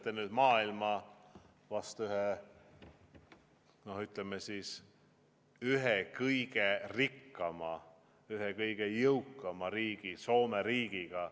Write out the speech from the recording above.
Te võrdlete meid nüüd maailma ühe kõige rikkama, ühe kõige jõukama riigi, Soome riigiga.